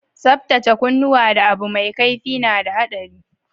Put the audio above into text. Tsabtacen kunuwa da Abu mai kaifi na da haɗari.